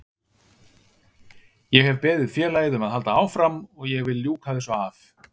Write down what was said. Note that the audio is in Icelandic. Ég hef beðið félagið um að halda áfram og ég vil ljúka þessu af.